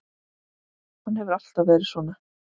Hann hefur alltaf verið svona.